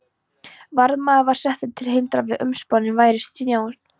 Varðmaður var settur til að hindra að umboðsmanninum bærist njósn.